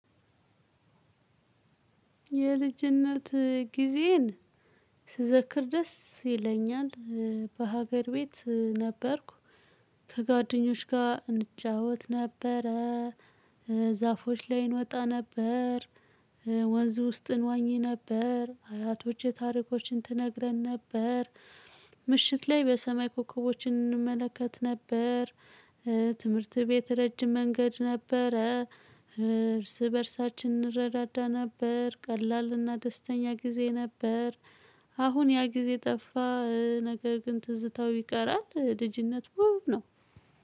የልጅነት ጊዜዬን ስዘክር ደስ ይለኛል። በሀገር ቤት ነበርኩ። ከጓደኞች ጋር እንጫወት ነበረ። ዛፎች ላይ እንወጣ ነበር። ወንዝ ውስጥ እንዋኚ ነበር። አያቶቼ ታሪኮችን ትነግረን ነበር። ምሽት ላይ በሰማይ ኮከቦችን እንመለከት ነበር። ትምህርት ቤት ረጅም መንገድ ነበረ። እርስ በእርሳችን እንረዳዳ ነበር። ቀላልና ደስተኛ ጊዜ ነበር። አሁን ያ ጊዜ ጠፋ። ነገር ግን ትዝታው ይቀራል። ልጅነት ውብ ነው።